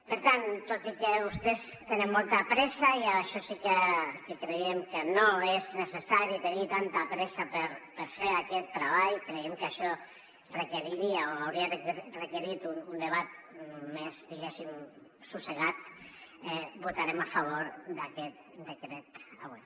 per tant tot i que vostès tenen molta pressa i això sí que creiem que no és necessari tenir tanta pressa per fer aquest treball creiem que això requeriria o hauria requerit un debat més diguéssim assossegat votarem a favor d’aquest decret avui